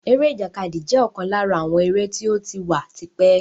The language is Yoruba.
Eré ìjàkadì jẹ́ ọ̀kan lára àwọn eré tí ó ti wà tipẹ́